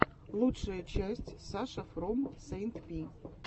лучшая часть саша фром сэйнт пи